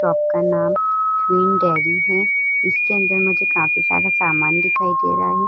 Shop का नाम Queen Dairy है। इसके अंदर मुझे काफी सारा सामान दिखाई दे रहा है।